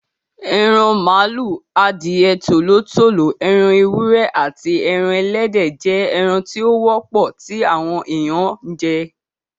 Eran màlúù, adìẹ, Tòló tòló, ẹran ewúrẹ́, aàti ẹran Ẹlẹ́dẹ̀ jẹ́ ẹran tí ó wọ́pọ̀ tí àwọn èèyàn ń jẹ.